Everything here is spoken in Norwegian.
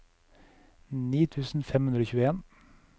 ni tusen fem hundre og tjueen